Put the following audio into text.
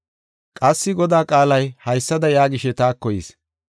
Qassi Godaa qaalay haysada yaagishe taako yis.